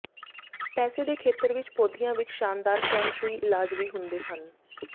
ਪੈਸੇ ਦੇ ਖੇਤਰ ਵਿੱਚ ਪੌਦਿਆਂ ਵਿੱਚ ਸ਼ਾਨਦਾਰ ਫੈਂਗ ਸ਼ੂਈ ਇਲਾਜ ਵੀ ਹੁੰਦੇ ਹਨ